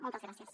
moltes gràcies